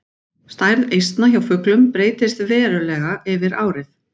Stærð eistna hjá fuglum breytist verulega yfir árið.